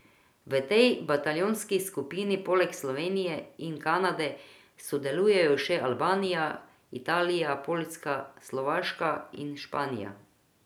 V tej bataljonski skupini poleg Slovenije in Kanade sodelujejo še Albanija, Italija, Poljska, Slovaška in Španija.